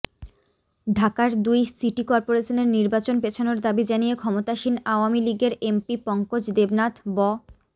ঢাকার দুই সিটি করপোরেশনের নির্বাচন পেছানোর দাবি জানিয়ে ক্ষমতাসীন আওয়ামী লীগের এমপি পঙ্কজ দেবনাথ ব